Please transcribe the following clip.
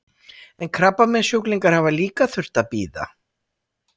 En krabbameinssjúklingar hafa líka þurft að bíða?